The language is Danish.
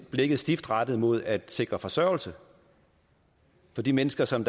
blikket stift rettet mod at sikre forsørgelse for de mennesker som